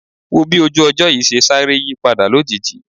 Wò ó bí ojú ọjọ́ yìí ṣe sáré yípadà lójijì